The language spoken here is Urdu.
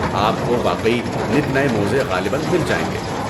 آپ کو واقعی نت نئے موزے غالباً مل جائیں گے۔